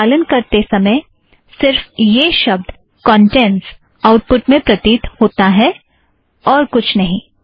संचालन करते समय सिर्फ़ यह शब्द कौंटेंट्स आउटपुट में प्रतीत होता है और कुछ नहीं